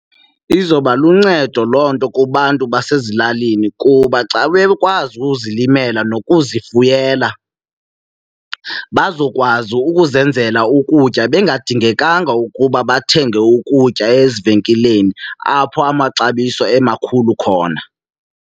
Izoba luncedo loo nto kubantu basezilalini kuba xa bekwazi ukuzilimela nokuzifuyela bazokwazi ukuzenzela ukutya bengadindingekanga ukuba bathenge ukutya ezivenkileni, apho amaxabiso emakhulu khona.